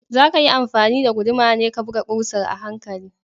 Zakayi amfani da guduma ne ka buga ƙusar a hankali